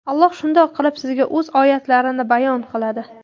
Alloh shundoq qilib sizga O‘z oyatlarini bayon qiladi.